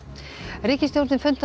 ríkisstjórnin fundaði á